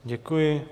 Děkuji.